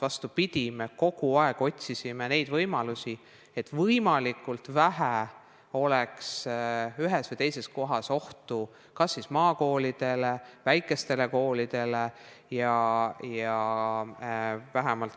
Vastupidi, me otsisime kogu aeg võimalusi, et võimalikult vähe oleks ühes või teises kohas ohtu kas maakoolidele või muudele väikestele koolidele.